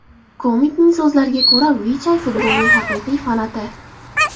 Komikning so‘zlariga ko‘ra, Vichay futbolning haqiqiy fanati.